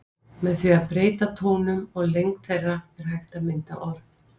Með því að breyta tónum og lengd þeirra er hægt að mynda orð.